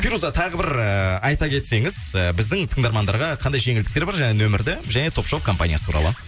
фируза тағы бір ыыы айта кетсеңіз і біздің тыңдармандарға қандай жеңілдіктер бар және нөмірді және топ шоп компаниясы туралы